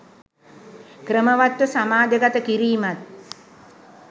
ක්‍රමවත් ව සමාජගත කිරීමත්